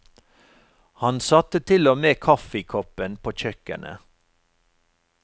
Han satte til og med kaffekoppen på kjøkkenet.